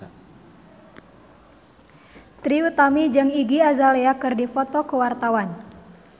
Trie Utami jeung Iggy Azalea keur dipoto ku wartawan